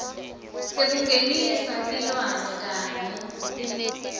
sekungenisa tilwane kanye